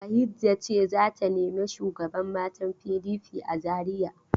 Bahijja ce za ta nemi shugaban matan PDP a Zariya.